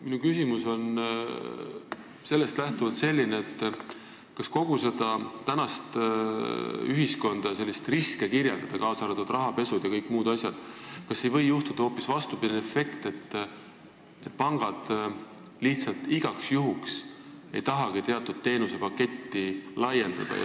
Minu küsimus on sellest lähtuvalt selline: kui kogu tänapäeva ühiskonda ja riske kirjeldada, kaasa arvatud rahapesu jms, siis kas ei või juhtuda hoopis vastupidine efekt, et pangad lihtsalt igaks juhuks ei tahagi teatud teenusepaketti laiendada?